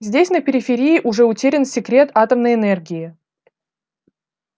здесь на периферии уже утерян секрет атомной энергии